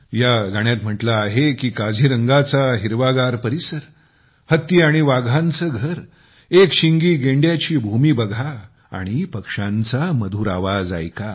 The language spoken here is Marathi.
या गाण्यात म्हटले गेले आहे की काझीरंगाचा हिरवागार परिसर हत्ती आणि वाघांचे घर एक शिंगी गेंड्यांची भूमी बघा आणि पक्ष्यांचा मधुर आवाज ऐका